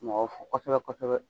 Mɔgɔw fo kosɛbɛ kosɛbɛ